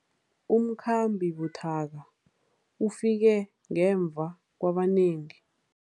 Umkhambi buthaka ufike ngemva kwabanengi.